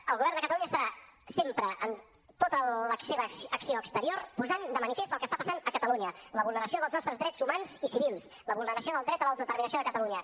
el govern de catalunya estarà sempre en tota la seva acció exterior posant de manifest el que està passant a catalunya la vulneració dels nostres drets humans i civils la vulneració del dret a l’autodeterminació de catalunya